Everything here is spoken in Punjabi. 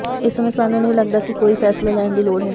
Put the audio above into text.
ਇਸ ਸਮੇਂ ਸਾਨੂੰ ਨਹੀਂ ਲਗਦਾ ਹੈ ਕਿ ਕੋਈ ਫ਼ੈਸਲਾ ਲੈਣ ਦੀ ਲੋੜ ਹੈ